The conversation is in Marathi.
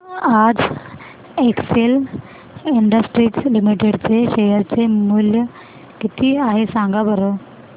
आज एक्सेल इंडस्ट्रीज लिमिटेड चे शेअर चे मूल्य किती आहे सांगा बरं